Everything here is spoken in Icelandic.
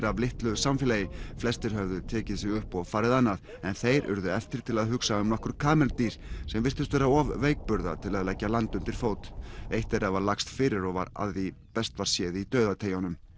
af litlu samfélagi flestir höfðu tekið sig upp og farið annað en þeir urðu eftir til að hugsa um nokkur kameldýr sem virtust vera of veikburða til að leggja land undir fót eitt þeirra var lagst fyrir og var að því best var séð í dauðateygjunum